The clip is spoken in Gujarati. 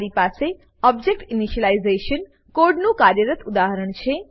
મારી પાસે ઓબ્જેક્ટ ઇનિશિયલાઇઝેશન કોડનું કાર્યરત ઉદાહરણ છે